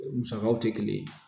Musakaw tɛ kelen ye